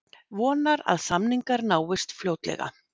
Vonar að samningar náist fljótlega